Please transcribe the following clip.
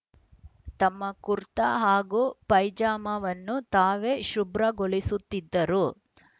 ತಮ್ಮ ಕುರ್ತಾ ಹಾಗೂ ಪೈಜಾಮಾವನ್ನು ತಾವೇ ಶುಭ್ರಗೊಳಿಸುತ್ತಿದ್ದರು